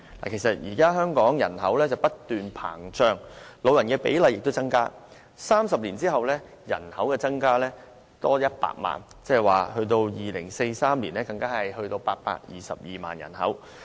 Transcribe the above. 現時香港人口不斷膨脹，長者比例亦有所增加，預計30年後人口將增加100萬，即到2043年時，人口將達822萬。